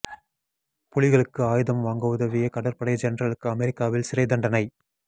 புலிகளுக்கு ஆயுதம் வாங்க உதவிய கடற்படை ஜெனரலுக்கு அமெரிக்காவில் சிறைத் தண்டனை